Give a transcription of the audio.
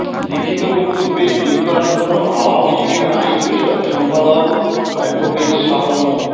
লিখিত বক্তব্যে যুক্তরাষ্ট্র আওয়ামী লীগের আইন বিষয়ক সম্পাদক এডভোকেট শাহ মো